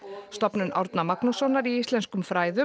stofnun Árna Magnússonar í íslenskum fræðum